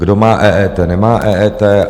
Kdo má EET, nemá EET.